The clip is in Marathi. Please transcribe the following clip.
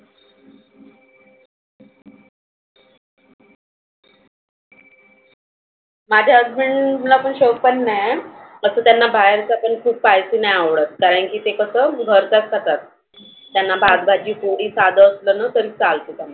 माझ्या husband ला पण शोक पाणि नाही. असं त्यांना बाहेरच पण खायचं पण नाही आवडत. कारणकी ते कसं घरचच खातात. त्यांना भात भाजी पोळी साध असल ना तरी चालतं.